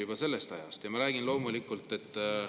juba sellest ajast.